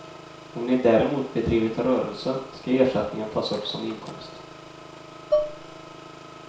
Om ni däremot bedrivit rörelse ska ersättningen tas upp som inkomst.